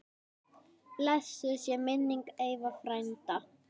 Blessuð sé minning Eyva frænda.